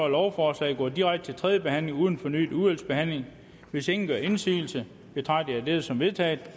at lovforslaget går direkte til tredje behandling uden fornyet udvalgsbehandling hvis ingen gør indsigelse betragter jeg dette som vedtaget